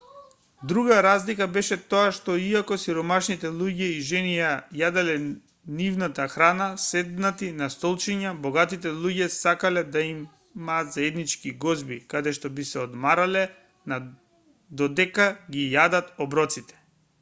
друга разлика беше тоа што иако сиромашните луѓе и жени ја јаделе нивната храна седнати на столчиња богатите луѓе сакале да имаат заеднички гозби каде што би се одмарале на додека ги јадат оброците